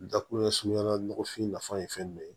Dakunɲɛsuguya la nɔgɔfin nafa ye fɛn min ye